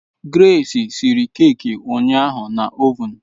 Grace siri keeki ụnyaahụ na ovun